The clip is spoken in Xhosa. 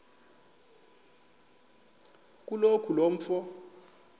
kaloku lo mfo